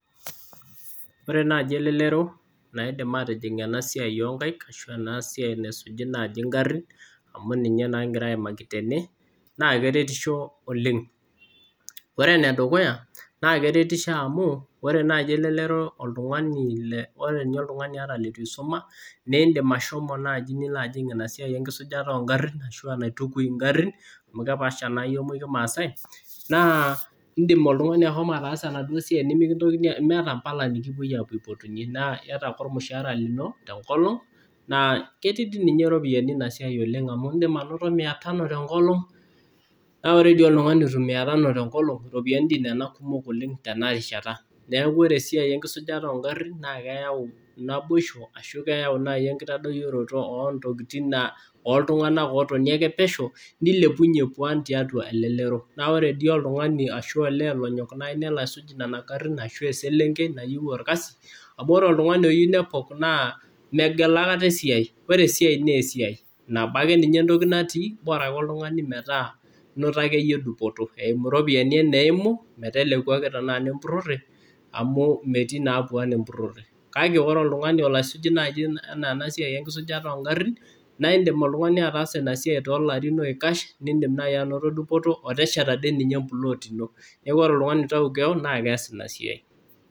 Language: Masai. Ore naaji elelero naidim aatijing' ena siai oo nkaik ashu ena siai naisuji naaji ingarrin amu ninye naa kigira aimaki tene, naa keretisho oleng. Ore ene dukuya naa keretisho amu ore naaji elelero oltung'ani, ore ninye oltung'ani ata leitu isuma niindim ashomo naaji nilo ajing' ina siai enkisujata oo ngarrin ashu enaitukui ngarrin amu kepaasha naa iyiok muj kimaasai. Naa iindim oltung'ani ashomo ataasa enaduo siai nemiata mpala nekipwoi aipotunye naa iyata ake ormushaara lino te nkolong naa ketii iropiyiani ina siai amu iindim anoto Mia tano te nkolong naa ore dii oltung'ani otum Mia tano te nkolong iropiyiani doi kumok nena oleng tena rishata. Neeku ore esiai enkisujata oo ngarrin naa keyau naboishu ashu keyau naai enkitadoyioroto oo ntokiting ooltung'anak ootoni ake pesho nilepunye pwan tiatwa elelero. Naa ore dii oltung'ani ashu olee lonyok naai nelo aisuj nena garrin ashu eselenkei nayieu orkasi. Amu ore oltung'ani oyieu nepok naa megel akata esiai. Ore esiai naa esiai. Nabo ake ninye natii, bora ake oltung'ani metaa inoto akeyie dupoto eimu iropiyiani eneimu meteleku ake tenaa inempurrore amu metii naa pwaan empurrore. Kake ore oltung'ani olo asuj enaa ena siai enkisujata oo ngarrin naa iindim oltung'ani ataasa ina siai too larin oikash, niindim naai ainoto dupoto otesheta doi ninye emplot ino. Neeku ore oltung'ani oitau keon naa kees ina siai